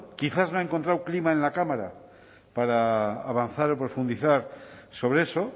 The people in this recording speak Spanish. quizás no ha encontrado clima en la cámara para avanzar o profundizar sobre eso